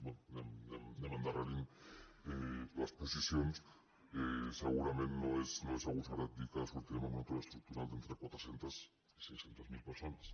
bé anem endarrerint les posicions segurament no és agosarat dir que en sortirem amb un atur estructural d’entre quatre cents i cinc cents miler persones